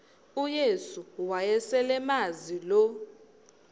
uyesu wayeselemazi lo